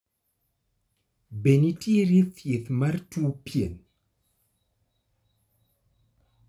Be nitiere thieth mar tuo pien ?